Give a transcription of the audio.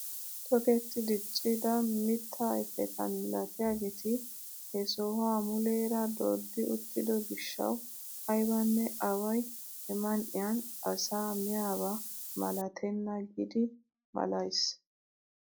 Toketti diccida mittaa ayfeta milatiyaageti he sohuwaa muleera dooddi uttido giishshawu aybanne away he man"iyaan asaa miyaaba malatenna giidi malays!